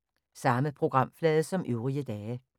Samme programflade som øvrige dage